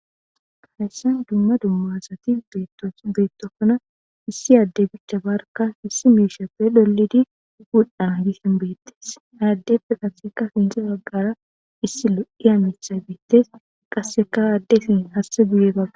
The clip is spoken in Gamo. hayssan dumma dumma asati beettokona issi adde bicha barka hissi miishappe dolidi gudhaa gisin beettes ay addefe qasseka finsi baggara issi lo7i hamitha biittes qasseka addesin hasse guye baga